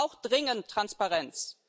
Es braucht dringend Transparenz.